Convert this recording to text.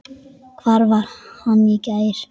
Hvar var hann í gær?